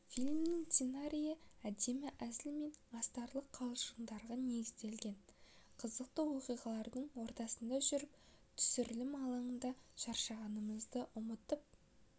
фильмнің сценариі әдемі әзіл мен астарлы қалжыңға негізделген қызықты оқиғалардың ортасында жүріп түсірілім алаңында шаршағанымызды ұмыттып